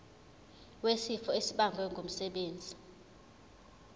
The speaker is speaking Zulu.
wesifo esibagwe ngumsebenzi